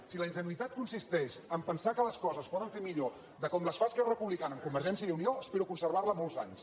si la ingenuïtat consisteix a pensar que les coses es poden fer millor que com les fa esquerra republicana amb convergència i unió espero conservar la molts anys